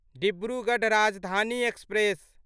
Dibrugarh Rajdhani express